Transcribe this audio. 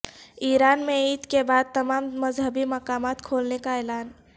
ایران میں عید کے بعد تمام مذہبی مقامات کھولنے کا اعلان